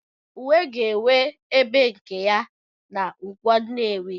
Uwe ga-enwe ebe nke ya na Nkwo nnewi.